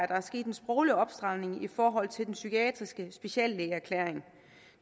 der er sket en sproglig opstramning i forhold til den psykiatriske speciallægeerklæring